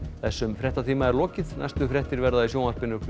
þessum fréttatíma er lokið næstu fréttir verða í sjónvarpi